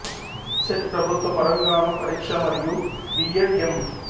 set ప్రభుత్వ పరంగాను పరీక్ష మరియి బి ఎడ్ ఎం